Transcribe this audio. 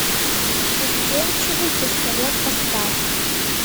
застенчивый пистолет поставь